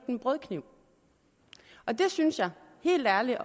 en brødkniv jeg synes helt ærligt at